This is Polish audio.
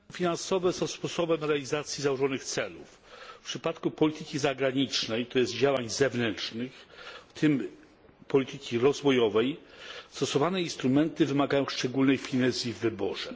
Instrumenty finansowe są sposobem realizacji założonych celów. W przypadku polityki zagranicznej, to jest działań zewnętrznych, w tym polityki rozwojowej, Stosowane instrumenty wymagają szczególnej finezji w wyborze.